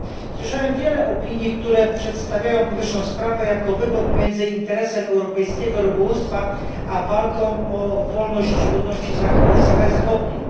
Słyszałem wiele opinii, które przedstawiają powyższą sprawę jako wybór pomiędzy interesem europejskiego rybołówstwa a walką o wolność ludności Sahary Zachodniej.